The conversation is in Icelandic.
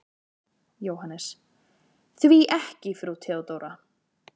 JÓHANNES: Því ekki frú Theodóra?